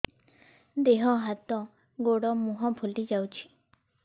ଦେହ ହାତ ଗୋଡୋ ମୁହଁ ଫୁଲି ଯାଉଛି